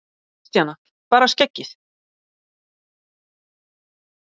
Kristjana: Bara skeggið?